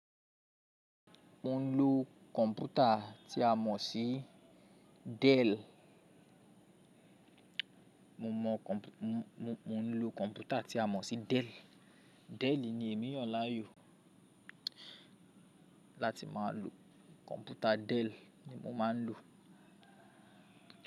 Mo ń lo kọ̀m̀pútà tí a mọ̀ sí Dell. Mo mọ, mo ń lo kọ̀m̀pútà tí a mọ̀ sí Dell. Dell ni èmí yan laá yò láti máa lo. Kọ̀m̀pútà Dell ni mo máa ń lò.